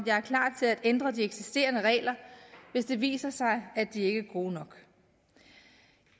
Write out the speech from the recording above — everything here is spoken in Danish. ændre de eksisterende regler hvis det viser sig at de ikke er gode nok